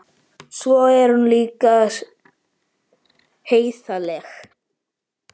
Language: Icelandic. Og svo er hún líka heiðarleg.